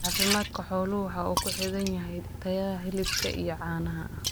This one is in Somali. Caafimaadka xooluhu waxa uu ku xidhan yahay tayada hilibka iyo caanaha.